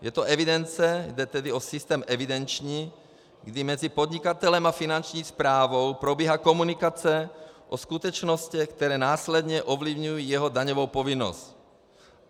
Je to evidence, jde tedy o systém evidenční, kdy mezi podnikatelem a Finanční správou probíhá komunikace o skutečnostech, které následně ovlivňují jeho daňovou povinnost.